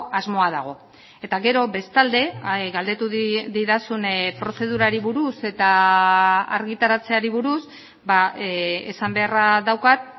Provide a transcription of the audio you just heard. asmoa dago eta gero bestalde galdetu didazun prozedurari buruz eta argitaratzeari buruz esan beharra daukat